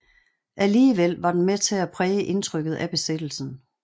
Alligevel var den med til at præge indtrykket af besættelsen